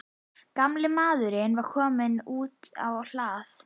Gamli maðurinn var kominn út á hlað.